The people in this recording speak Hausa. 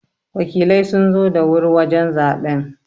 Wakilai sun zo da wuri wajen zaɓen.